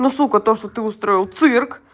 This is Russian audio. ну сука то что ты устроил цирк